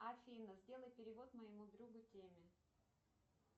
афина сделай перевод моему другу теме